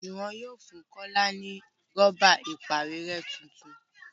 Juwon yóò fún kola ní Rọ́bà ìpàwérẹ́ títún.